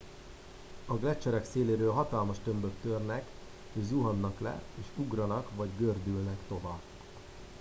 a gleccserek széléről hatalmas tömbök törnek és zuhannak le és ugranak vagy gördülnek tova